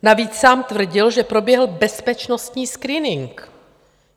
Navíc sám tvrdil, že proběhl bezpečnostní screening.